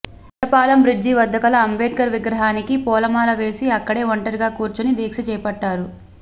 Indrapalem bridge వద్ద గల అంబేద్కర్ విగ్రహానికి పూలమాల వేసి అక్కడే ఒంటరిగా కూర్చుని దీక్ష చేపట్టారు